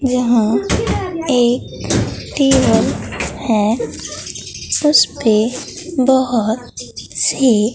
यहां एक टेबल है उस पे बहुत से--